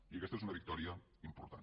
i aquesta és una victòria important